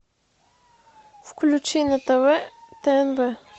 включи на тв тнв